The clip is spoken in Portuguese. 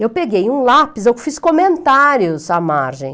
Eu peguei um lápis, eu fiz comentários à margem.